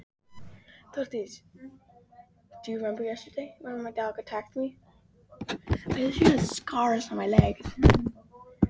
Hann gerir það sem hann gerir, alveg hugsunarlaust.